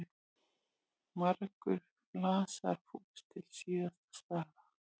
Margur flasar fús til síns skaða.